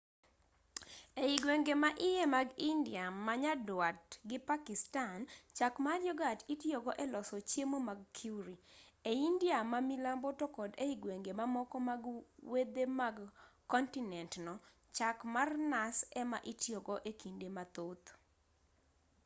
ei gwenge ma iye mag india ma nyaduat gi pakistan chak mar yogat itiyogo e loso chiemo mag curry e india ma milambo to kod ei gwenge mamoko mag wedhe mag kontinent no chak mar nas ema itiyogo ekinde mathoth